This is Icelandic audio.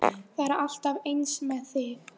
Það er alltaf eins með þig!